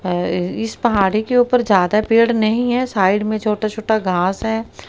अ इस पहाड़ी के ऊपर ज्यादा पेड़ नहीं है साइड में छोटा छोटा घास है।